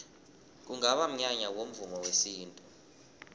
kungaba mnyanya womvumo wesintu